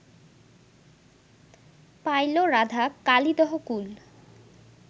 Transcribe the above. pile Radha Kalidah কূল